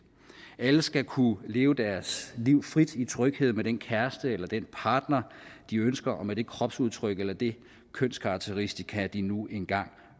alle skal kunne leve deres liv frit i tryghed med den kæreste eller den partner de ønsker og med det kropsudtryk eller det kønskarakteristikum de nu engang